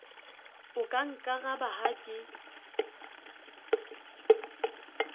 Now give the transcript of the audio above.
o ka nkaraba ha ke